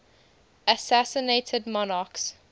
assassinated monarchs